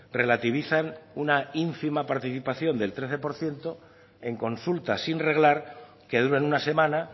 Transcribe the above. relativizan una ínfima participación del trece por ciento en consulta sin reglar que duran una semana